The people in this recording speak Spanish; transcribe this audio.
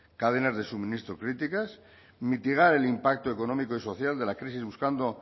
cadenas de suministro críticas mitigar el impacto económico y social de la crisis buscando